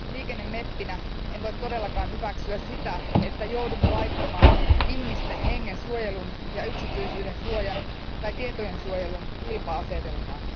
Liikennemeppinä en voi todellakaan hyväksyä sitä, että joudumme laittamaan ihmisten hengen suojelun ja yksityisyyden suojan tai tietojen suojelun kilpa asetelmaan.